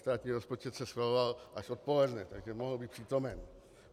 Státní rozpočet se schvaloval až odpoledne, takže mohl být přítomen.